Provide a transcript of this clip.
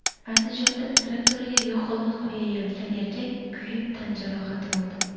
Andijonda traktoriga yoqilg‘i quyayotgan erkak kuyib tan jarohati oldi.